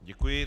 Děkuji.